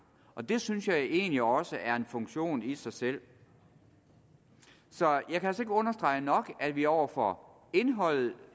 og det synes jeg egentlig også er en funktion i sig selv så jeg kan understrege nok at vi over for indholdet